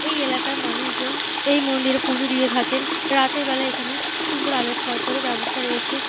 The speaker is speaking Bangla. এই এলাকার মানুষজন এই মন্দিরে পুজো দিয়ে থাকেন। রাতেরবেলা এখানে সুন্দর আলোকসজ্জার ও ব্যবস্থা রয়েছে।